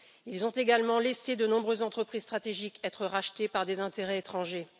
Ils ont également laissé de nombreuses entreprises stratégiques être rachetées par des intérêts étrangers.